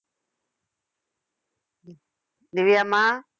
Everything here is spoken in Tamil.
திவ்~ திவ்யாம்மா